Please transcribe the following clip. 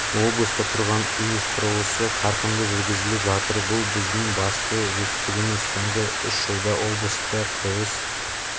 облыста тұрғын үй құрылысы қарқынды жүргізіліп жатыр бұл біздің басты жетістігіміз соңғы үш жылда облыста құрылыс